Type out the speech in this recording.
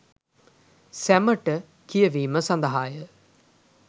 සැමට කියවීම සඳහාය